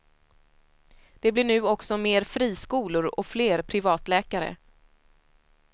Det blir nu också mer friskolor och fler privatläkare.